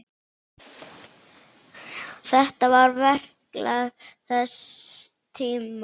Þetta var verklag þess tíma.